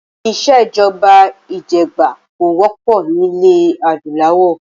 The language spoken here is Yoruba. Ìsèjọba ìjẹgàba kò wọ́pọ̀ nilẹ adúláwọ̀